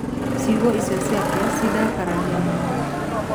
Ciugo icio ciake ciandakaragia mũno.